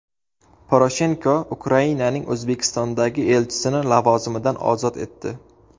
Poroshenko Ukrainaning O‘zbekistondagi elchisini lavozimidan ozod etdi.